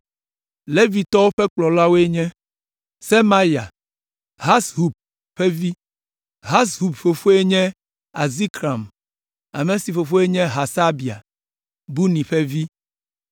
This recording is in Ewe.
Levitɔwo ƒe kplɔlawoe nye: Semaya, Hashub ƒe vi. Hashub fofoe nye Azrikam, ame si fofoe nye Hasabia, Buni ƒe vi;